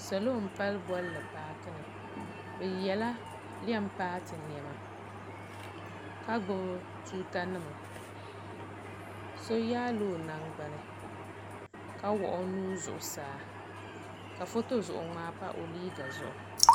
salo m-palli bɔnli paaki ni bɛ yela lɛm paati nɛma ka gbubi tuuta nima so yaai la o nangbuni ka wuɣi o nuu zuɣusaa ka foto zuɣu ŋmaa pa o liiga zuɣu.